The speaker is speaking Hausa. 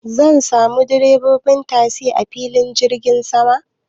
Zan samu direbobin tasi a filin jirgin saman